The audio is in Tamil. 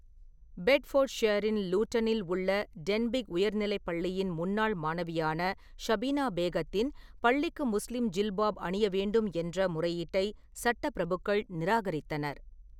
பெட்ஃபோர்ட்ஷியரின் லூடனில் உள்ள டென்பிக் உயர்நிலைப் பள்ளியின் முன்னாள் மாணவியான ஷபினா பேகத்தின், பள்ளிக்கு முஸ்லீம் ஜில்பாப் அணிய வேண்டும் என்ற, முறையீட்டை சட்ட பிரபுக்கள் நிராகரித்தனர்.